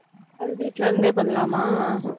அது வீட்ல இருந்தே பண்ணலாமா?